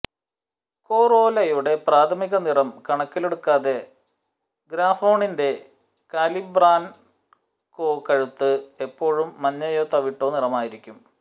കൊറോലയുടെ പ്രാഥമിക നിറം കണക്കിലെടുക്കാതെ ഗ്രാഫോണിന്റെ കലിബ്രാൻകോ കഴുത്ത് എപ്പോഴും മഞ്ഞയോ തവിട്ടോ നിറമായിരിക്കും